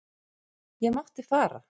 Ég mátti fara.